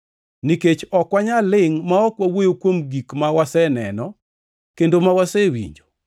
Nikech ok wanyal lingʼ ma ok wawuoyo kuom gik ma waseneno kendo ma wasewinjo.”